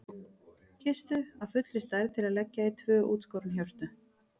Kistu af fullri stærð til að leggja í tvö útskorin hjörtu.